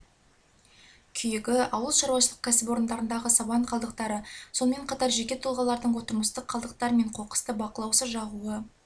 күйігі ауылшаруашылық кәсіпорындарындағы сабан қалдықтары сонымен қатар жеке тұлғалардың тұрмыстық қалдықтар мен қоқысты бақылаусыз жағуы